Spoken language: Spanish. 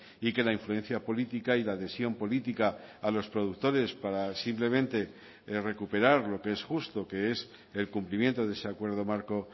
y que la influencia política y la adhesión política a los productores para simplemente recuperar lo que es justo que es el cumplimiento de ese acuerdo marco